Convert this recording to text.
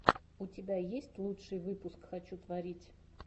у тебя есть лучший выпуск хочу творить